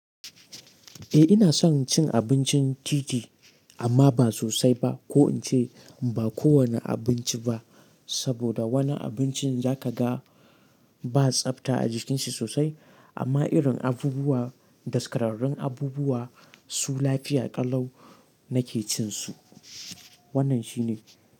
Eh ina son cin abincin titi amma ba sosai ba ko in ce ba kowane abinci ba, saboda wani abincin zaka ga ba tsafta a jikin shi sosai amma irin abubuwa das kararrun abubuwa su lafiya ƙalau nake cin su. Wannan shine.